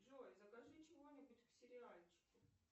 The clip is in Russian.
джой закажи чего нибудь к сериальчику